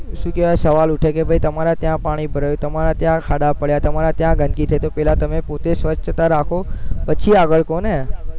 શું કેવા સવાલ ઉઠે કે તમારે ત્યાં પાણી ભરાઈ, તમારે ત્યાં ખાડા થયા તમારે ત્યાં ગંદકી થઇ તો પેલા તમે પોતે સ્વચ્છતા રાખો પછી આગળ કોને